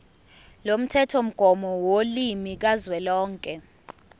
lomthethomgomo wolimi kazwelonke